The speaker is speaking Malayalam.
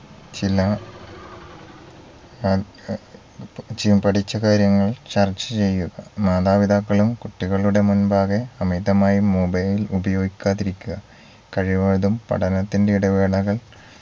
ചില ആ ഏർ പഠിച്ചകാര്യങ്ങൾ ചർച്ച ചെയ്യുക മാതാപിതാക്കളും കുട്ടികളുടെ മുൻപാകെ അമിതമായി mobile ഉപയോഗിക്കാതിരിക്കുക കഴിവതും പഠനത്തിന്റെ ഇടവേളകൾ